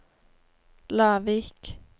Lavik